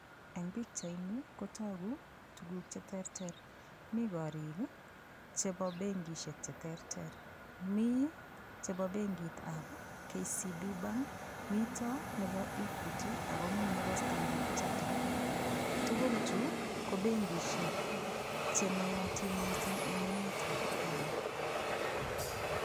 Eng' pikchaini kotoku tukuk cheterter mi korik chebo benkishek cheterter mi chebo benkitab KCB bank mito nebo equity ako mii nebo standard chartered tugul Chu ko benkishek chenoyotin mising' eng' emetab Kenya